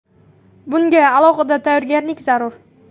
Bunga alohida tayyorgarlik zarur.